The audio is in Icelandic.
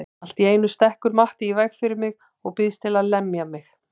Allt í einu stekkur Matti í veg fyrir mig og býðst til að lemja mig.